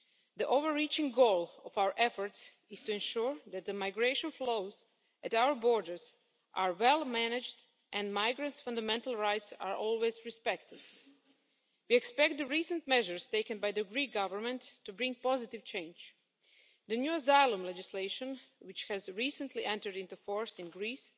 The overreaching goal of our efforts is to ensure that the migration flows at our borders are well managed and migrants' fundamental rights are always respected. We expect the recent measures taken by the Greek government to bring positive change. The new asylum legislation which has recently entered into force in Greece